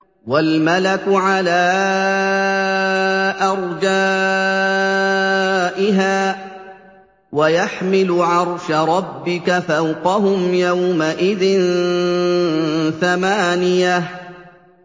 وَالْمَلَكُ عَلَىٰ أَرْجَائِهَا ۚ وَيَحْمِلُ عَرْشَ رَبِّكَ فَوْقَهُمْ يَوْمَئِذٍ ثَمَانِيَةٌ